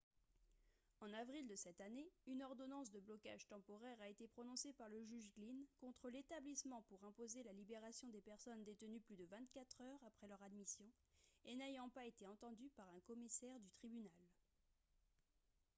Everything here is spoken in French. en avril de cette année une ordonnance de blocage temporaire a été prononcée par le juge glynn contre l'établissement pour imposer la libération des personnes détenues plus de 24 heures après leur admission et n'ayant pas été entendues par un commissaire du tribunal